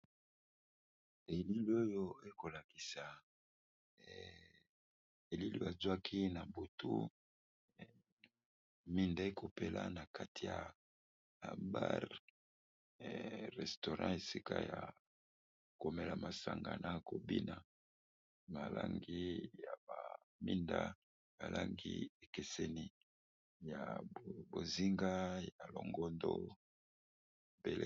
Elili oyo ekolakisa elili azwaki na butu minda ekopela na kati ya bar restourant esika ya komela masanga na kobina malangi ya baminda alangi ekeseni ya bozinga ya longondo.